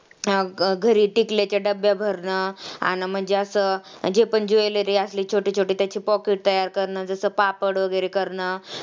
घरी टिकल्याच्या डब्ब्या भरणं अन म्हणजे असं जे पण ज्वेलरी असली छोटी छोटी त्याची pocket तयार करणं जसं पापड वगैरे करणं